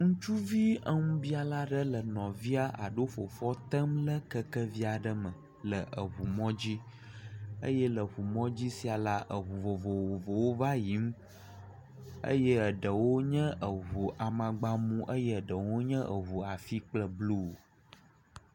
Ŋutsuvi eŋubiala aɖe le nɔvia aɖo fofoa tem le kekevi aɖe me le eŋumɔdzi eye le eŋumŋdzi sia la, eŋu vovovowo va le yiyim eye eɖewo nye eŋu amagba mu eye eɖewo nye eŋu afi kple blu.